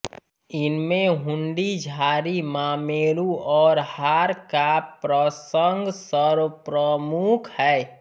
इनमें हुंडी झारी मामेरु और हार का प्रसंग सर्वप्रमुख है